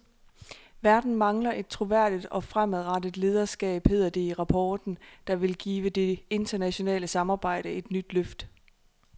Verden mangler et troværdigt og fremadrettet lederskab, hedder det i rapporten, der vil give det internationale samarbejde et nyt løft.